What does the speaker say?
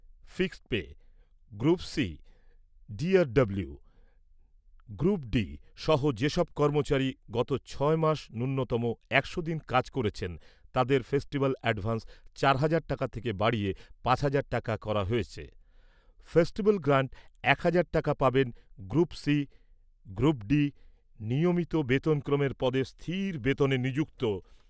Fixed pay, group C DRW group D সহ যেসব কর্মচারী গত ছয় মাস ন্যূনতম একশো দিন কাজ করেছেন, তাঁদের ফেস্টিভ্যাল অ্যাডভান্স চার হাজার টাকা থেকে বাড়িয়ে পাঁচ হাজার টাকা করা হয়েছে। ফেস্টিভ্যাল গ্রান্ট এক হাজার টাকা পাবেন গ্রুপ সি গ্রুপ ডি নিয়মিত বেতনক্রমের পদে স্থির বেতনে নিযুক্ত